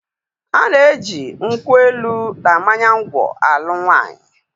A na-eji nkwụ elu na mmanya ngwọ alụ nwaanyị.